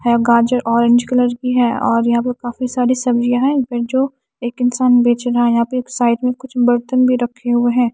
है गाजर orange colour की है और यहां पे काफी सारी सब्जियां है जो एक इंसान बेच रहा यहां पे साइड में कुछ बर्तन भी रखे हुए हैं।